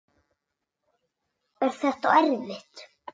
Er þetta erfitt?